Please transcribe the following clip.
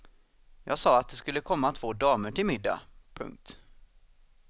Jag sa att det skulle komma två damer till middag. punkt